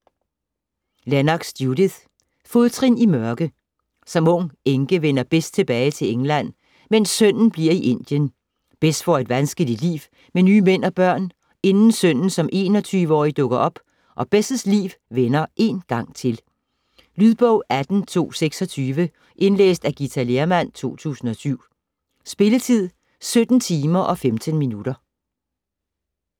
Lennox, Judith: Fodtrin i mørke Som ung enke vender Bess tilbage til England, mens sønnen bliver i Indien. Bess får et vanskeligt liv med nye mænd og børn, inden sønnen som 21-årig dukker op, og Bess' liv vender én gang til. Lydbog 18226 Indlæst af Githa Lehrmann, 2007. Spilletid: 17 timer, 15 minutter.